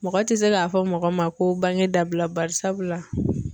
Mɔgɔ tɛ se k'a fɔ mɔgɔ ma ko bange dabila bari sabula.